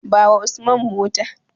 Bawa Usman mota.